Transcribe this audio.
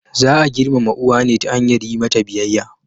Za a girmama uwa ne ta hanyar yi mata biyayya.